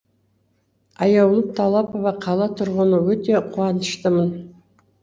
аяулым талапова қала тұрғыны өте қуаныштымын